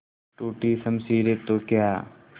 टूटी शमशीरें तो क्या